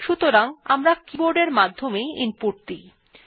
সাধারণত আমরা কিবোর্ড এর মাধ্যমে ইনপুট দিয়ে থাকি